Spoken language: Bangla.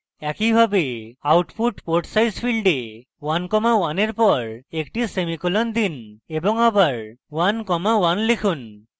একইভাবে output port size ফীল্ডে 1 comma 1 এর পর একটি সেমিকোলন দিন এবং আবার 1 comma 1 লিখুন